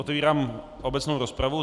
Otevírám obecnou rozpravu.